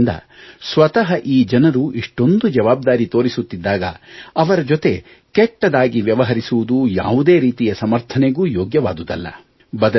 ಆದ್ದರಿಂದ ಸ್ವತಃ ಈ ಜನರು ಇಷ್ಟೊಂದು ಜವಾಬ್ದಾರಿ ತೋರಿಸುತ್ತಿದ್ದಾಗ ಅವರ ಜೊತೆ ಕೆಟ್ಟದ್ದಾಗಿ ವ್ಯವಹರಿಸುವುದು ಯಾವುದೇ ರೀತಿಯ ಸಮರ್ಥನೆಗೂ ಯೋಗ್ಯವಾದುದಲ್ಲ